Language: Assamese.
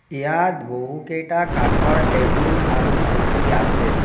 ইয়াত বহুকেইটা কাঠৰ টেবুল আৰু চকী আছে।